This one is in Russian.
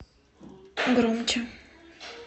громче